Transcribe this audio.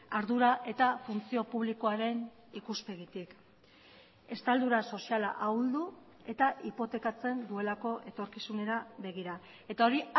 ardura eta funtzio publikoaren ikuspegitik estaldura soziala ahuldu eta hipotekatzen duelako etorkizunera begira eta hori